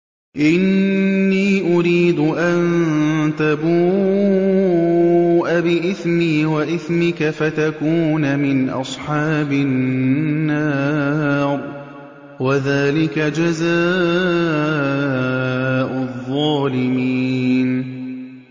إِنِّي أُرِيدُ أَن تَبُوءَ بِإِثْمِي وَإِثْمِكَ فَتَكُونَ مِنْ أَصْحَابِ النَّارِ ۚ وَذَٰلِكَ جَزَاءُ الظَّالِمِينَ